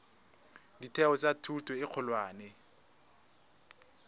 ditheo tsa thuto e kgolwane